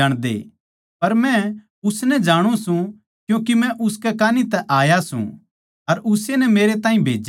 पर मै उसनै जाणु सूं क्यूँके मै उसकै कान्ही तै आया सूं अर उस्से नै मेरै ताहीं भेज्या सै